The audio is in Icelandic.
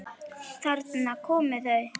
Þarna koma þau!